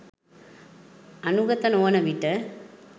අනුගත නොවන විට